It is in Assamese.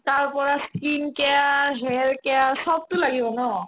তাৰপৰা skin care, hair care চবতো লাগিব ন